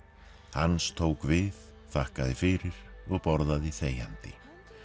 hans tók við þakkaði fyrir og borðaði þegjandi